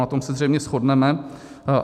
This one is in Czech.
Na tom se zřejmě shodneme.